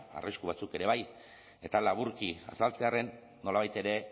arrisku batzuk ere bai eta laburki azaltzearren nolabait ere